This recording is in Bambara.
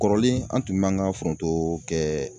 Kɔrɔlen an tun b'an ka foronto kɛ.